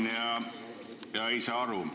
Ma loen ja ei saa aru.